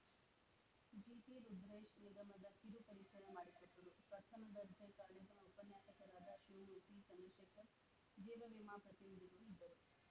ಜಿಟಿ ರುದ್ರೇಶ್‌ ನಿಗಮದ ಕಿರು ಪರಿಚಯ ಮಾಡಿಕೊಟ್ಟರು ಪ್ರಥಮ ದರ್ಜೆ ಕಾಲೇಜಿನ ಉಪನ್ಯಾಸಕರಾದ ಶಿವಮೂರ್ತಿ ಚಂದ್ರಶೇಖರ್‌ ಜೀವವಿಮಾ ಪ್ರತಿನಿಧಿಗಳು ಇದ್ದರು